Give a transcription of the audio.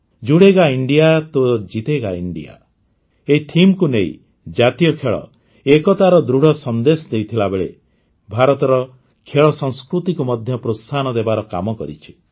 ଜୁଡ଼େଗା India ତୋ ଜିତେଗା India ଏହି Themeକୁ ନେଇ ଜାତୀୟ ଖେଳ ଏକତାର ଦୃଢ଼ ସନ୍ଦେଶ ଦେଇଥିବା ବେଳେ ଭାରତର ଖେଳସଂସ୍କୃତିକୁ ମଧ୍ୟ ପ୍ରୋତ୍ସାହନ ଦେବାର କାମ କରିଛି